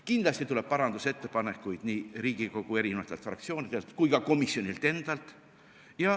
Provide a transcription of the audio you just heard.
Kindlasti tuleb parandusettepanekuid nii Riigikogu fraktsioonidelt kui ka komisjonilt endalt.